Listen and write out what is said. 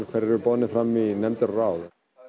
hverjir eru boðnir fram í nefndir og ráð